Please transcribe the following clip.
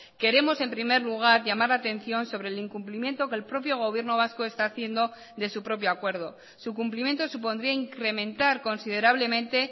queremos en primer lugar llamar la atención sobre el incumplimiento que el propio gobierno vasco esta haciendo de su propio acuerdo su cumplimiento supondría incrementar considerablemente